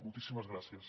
moltíssimes gràcies